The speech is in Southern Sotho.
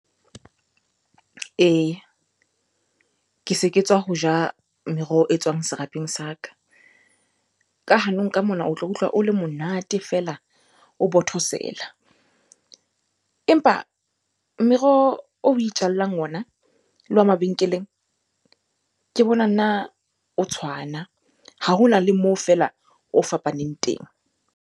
Eya, ke se ke tswa ho ja meroho e tswang serapeng sa ka. Ka hanong ka mona o tla utlwa o le monate feela, o bothosela. Empa meroho oe itjallang ona le wa mabenkeleng, ke bona nna o tshwana. Ha ho na le moo feela o fapaneng teng.